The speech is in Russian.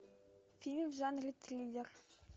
фильм в жанре триллер